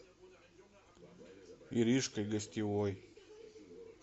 иришкой гостевой